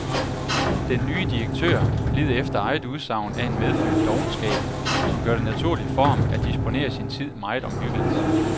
Den nye direktør lider efter eget udsagn af en medfødt dovenskab, som gør det naturligt for ham at disponere sin tid meget omhyggeligt.